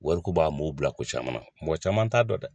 Wari ko b'a mɔɔw bila ko caman na ,mɔgɔ caman t'a dɔn dɛ.